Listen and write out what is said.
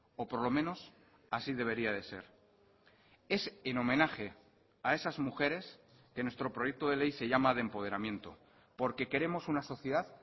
o por lo menos así debería de ser es en homenaje a esas mujeres que nuestro proyecto de ley se llama de empoderamiento porque queremos una sociedad